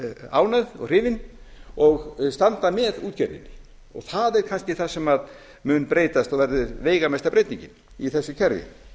ánægð og hrifin og þau standa með útgerðinni og það er kannski það sem mun breytast og verða veigamesta breytingin í þessu kerfi